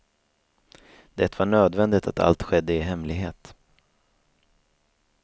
Det var nödvändigt att allt skedde i hemlighet.